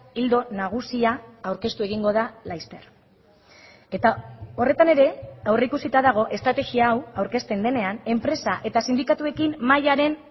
ildo nagusia aurkeztu egingo da laster eta horretan ere aurreikusita dago estrategia hau aurkezten denean enpresa eta sindikatuekin mahaiaren